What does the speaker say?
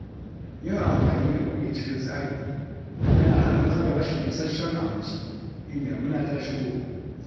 Yin amfani da kudi cikin tsari yana hana matsalar rashin isasshen abinci in damina ta shigo